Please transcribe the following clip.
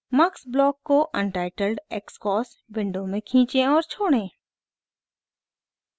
mux block को untitled xcos window में खींचें और छोड़ें